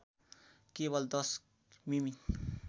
केवल १० मि मि